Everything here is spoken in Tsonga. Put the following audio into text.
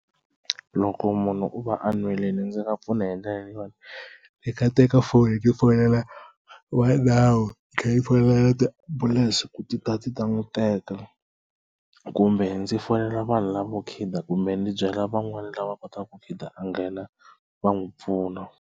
Loko munhu u va a ndzi nga pfuna hi ndlela leyi yona ni nga teka foni ni fonela va nawu ni tlhela ni fonela tiambulense ku ti ta ti ta n'wi teka kumbe ndzi fonela vanhu lavo khida kumbe ndzi byela van'wana lava kotaku ku khida a nghena va n'wi pfuna.